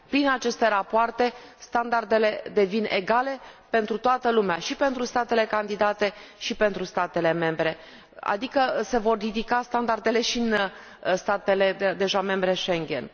Prin aceste rapoarte, standardele devin egale pentru toată lumea și pentru statele candidate, și pentru statele membre, adică se vor ridica standardele și în statele deja membre Schengen.